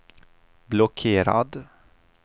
blockerad